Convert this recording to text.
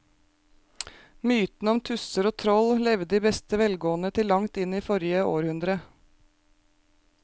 Mytene om tusser og troll levde i beste velgående til langt inn i forrige århundre.